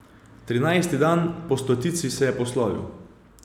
Trinajsti dan po stotici se je poslovil.